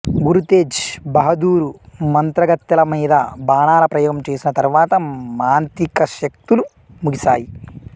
గురు తేజ్ బహదూరు మంత్రగత్తెల మీద బాణాల ప్రయోగం చేసిన తరువాత మాంత్రికశక్తులు ముగిసాయి